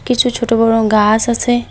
কিছু ছোট বড় গাছ আছে।